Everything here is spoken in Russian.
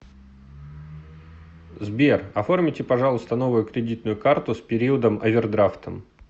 сбер оформите пожалуйста новую кредитную карту с периодом овердрафтом